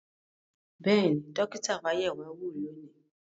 Bẹ́ẹ̀ni, dókítà wa yẹ̀ wá wò lónìí